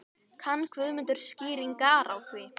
Kann Guðmundur skýringar á því?